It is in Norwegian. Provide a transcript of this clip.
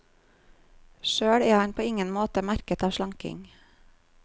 Sjøl er han på ingen måte merket av slanking.